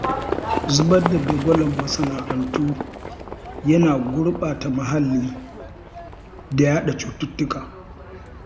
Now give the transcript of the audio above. Zubar da dagwalon masana'antu yana gurɓata muhalli da yaɗa cututtuka